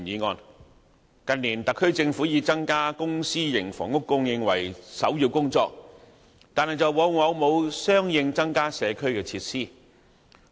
政府近年以增加公私營房屋供應為首要工作，但往往未有相應增加社區設施。